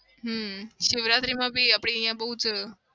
હમ શિવરાત્રીમાં બી આપડે અહિયાં બઉ જ